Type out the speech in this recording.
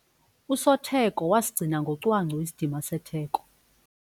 Usotheko wasigcina ngocwangco isidima setheko.